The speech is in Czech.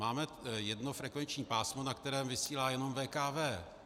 Máme jedno frekvenční pásmo, na kterém vysílá jenom VKV.